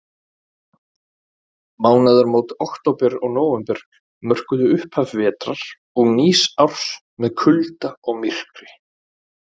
Mánaðarmót október og nóvember mörkuðu upphaf vetrar og nýs árs með kulda og myrkri.